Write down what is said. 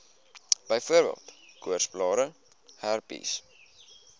byvoorbeeld koorsblare herpes